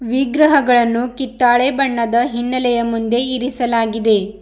ವಿಗ್ರಹಗಳನ್ನೂ ಕಿತ್ತಾಳೆ ಬಣ್ಣದ ಹಿನ್ನೆಲೆಯ ಮುಂದೆ ಇರಿಸಲಾಗಿದೆ.